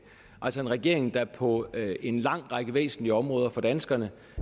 altså en regering der på en lang række væsentlige områder for danskerne